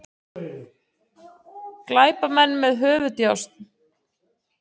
Glæpamenn með höfuðdjásn